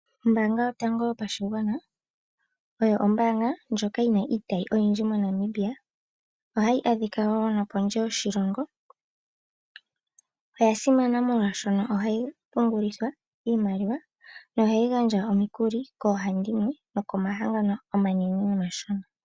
Ombaanga yotango yopashigwana oyo ombaanga ndjoka yi na iitayi oyindji moNamibia, ohayi adhika wo nopondje yoshilongo. Oya simana molwashono ohayi pungulithwa iimaliwa noha yi gandja omikuli koohandimwe nokomahangano omanene nomashona.